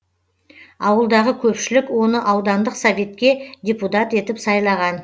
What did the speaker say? ауылдағы көпшілік оны аудандық советке депутат етіп сайлаған